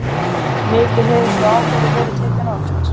Mikið hefur sú ákvörðun verið tekin oft.